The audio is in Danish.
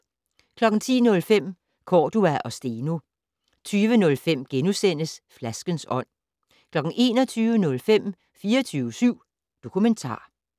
10:05: Cordua og Steno 20:05: Flaskens ånd * 21:05: 24syv Dokumentar